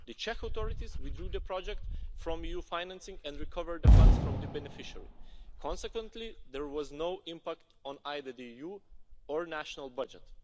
The Czech authorities withdrew the project from EU financing and recovered the funds from the beneficiary. Consequently, there was no impact on either the EU or the national budget.